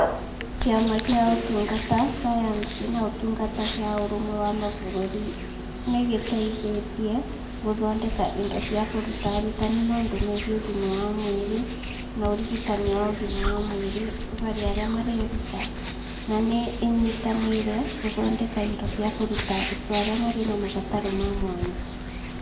Kĩama kĩa Ũtungata, Sayansi na Ũtungata gĩa Ũrũmwe wa Mabũrũri nĩ gĩteithĩtie gũthondeka indo cia kũruta arutani maũndũ megiĩ ũgima wa mwĩrĩ na ũrigitani wa ũgima wa mwĩrĩ harĩ arĩa mareruta, na nĩ ĩnyitanĩire gũthondeka indo cia kũruta arutwo arĩa marĩ na mabataro ma mwanya.